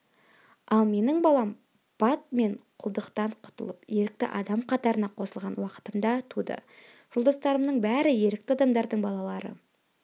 ал менің балам бат мен құлдықтан құтылып ерікті адам қатарына қосылған уақытымда туды жолдастарымның бәрі ерікті адамдардың балалары